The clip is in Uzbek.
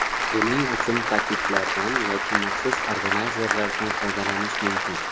Buning uchun paketlardan yoki maxsus organayzerlardan foydalanish mumkin.